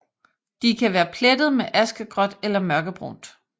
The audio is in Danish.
De kan være plettet med askegråt eller mørkebrunt